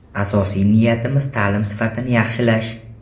Asosiy niyatimiz ta’lim sifatini yaxshilash!